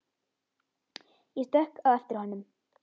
Ég stökk á eftir honum.